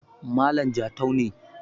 malam Jatau ne